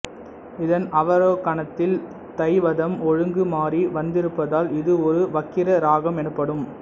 இதன் அவரோகணத்தில் தைவதம் ஒழுங்கு மாறி வந்திருப்பதால் இது ஒரு வக்கிர ராகம் எனப்படும்